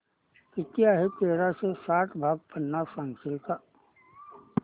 किती आहे तेराशे साठ भाग पन्नास सांगशील